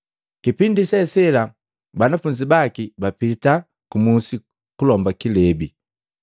Kipindi se sela banafunzi baki bapiti ku musi kulomba kilebi.